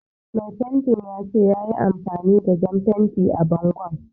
Mai fentin ya ce yayi amfani da jan fenti a bangon